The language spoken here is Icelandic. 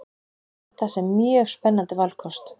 Sé þetta sem mjög spennandi valkost